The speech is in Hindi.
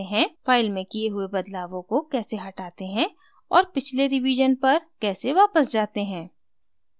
* file में किये हुए बदलावों को कैसे हटाते हैं और * पिछले रिवीजन पर कैसे वापस जाते हैं